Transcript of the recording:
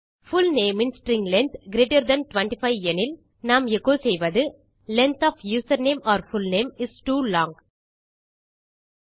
அல்லது full name in string length greater than 25 எனில் நாம் எச்சோ செய்வது length of username or full name is too long